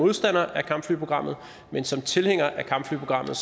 modstander af kampflyprogrammet men som tilhænger af kampflyprogrammet